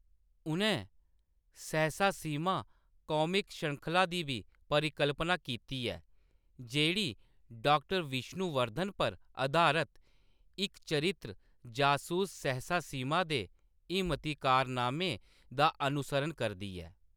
उʼनें सहसा सिम्हा कामिक श्रृंखला दी बी परिकल्पना कीती ऐ, जेह्‌‌ड़ी डॉ.विष्णुवर्धन पर अधारत इक चरित्र, जसूस सहसा सिम्हा दे हिम्मती कारनामें दा अनुसरण करदी ऐ।